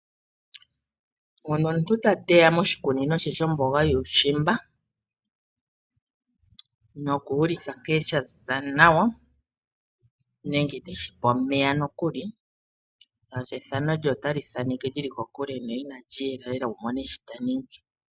Ngono omuntu ta teya moshikunino she shomboga yuushimba noku ulika nkee shaziza nawa nenge teshipe omeya nokuli, shaashi ethano lye otali thaaneke li li kokule ina lyiyela lela wumone shitaningi.